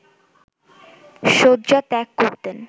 শয্যা ত্যাগ করতেন